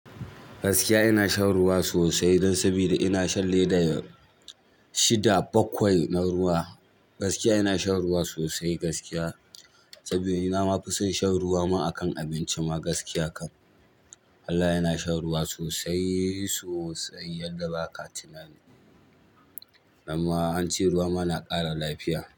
Gaskiya ina shan ruwa sosai don sabida ina shan leda shida bakwai na ruwa. Gaskiya ina shan ruwa sosai gaskiya sabida ina ma fi son shan ruwa ma akan abinci ma gaskiya kam. Wallahi ina shan ruwa sosai-sosai yadda ba ka tunani. Nan ma an ce ruwa ma na ƙara lafiya.